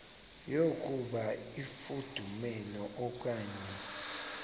yokuba ifudumele okanye